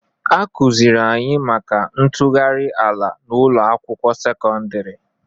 Akụzịrị anyị maka ntụgharị ala n'ụlọ akwụkwọ sekọndrị